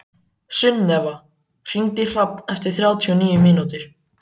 Sunneva, hringdu í Hrafn eftir þrjátíu og níu mínútur.